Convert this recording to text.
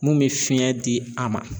Mun me fiɲɛ di a ma